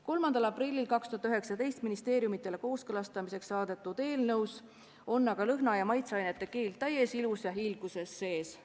3. aprillil 2019 ministeeriumitele kooskõlastamiseks saadetud eelnõus on aga lõhna- ja maitseainete keeld täies ilus ja hiilguses sees.